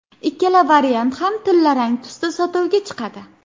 Ikkala variant ham tillarang tusda sotuvga chiqadi.